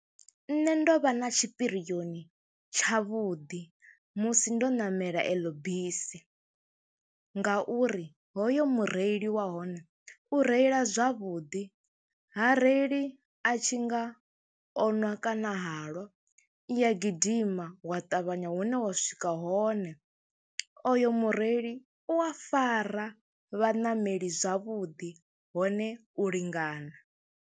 Nṋe ndo vha na tshipirioni tshavhuḓi musi ndo ṋamela eḽo bisi nga uri hoyu mureili wa hone u reila zwavhuḓi ha reili a tshi nga o ṅwa kana halwa, i ya gidima wa ṱavhanya hune wa swika hone, oyo mureili u a fara vhaṋameli zwavhuḓi hone u lingana.